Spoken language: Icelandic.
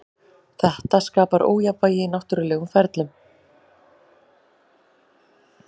Þetta skapar ójafnvægi í náttúrulegum ferlum.